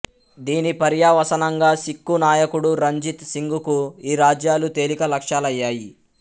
దీని పర్యవసానంగా సిక్కు నాయకుడు రంజిత్ సింగ్ కు ఈ రాజ్యాలు తేలిక లక్షాలయ్యాయి